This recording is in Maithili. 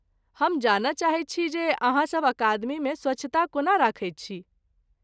हम जानय चाहैत छी जे अहाँसभ अकादमीमे स्वच्छता कोना रखैत छी।